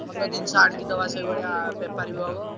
ଭଲ ଜିନିଷ ଆଣିକି ଦବା ସେଇଭଳିଆ ବେପାର ବି ହବ।